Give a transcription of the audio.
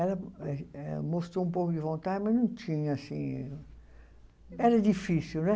Ela mostrou um pouco de vontade, mas não tinha, assim... Era difícil, né?